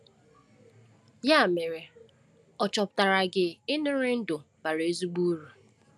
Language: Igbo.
Ya mere, ọ̀ chọpụtara gị ịṅụrị ndụ bara ezigbo uru?